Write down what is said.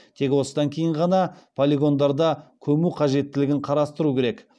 тек осыдан кейін ғана полигондарда көму қажеттілігін қарастыру керек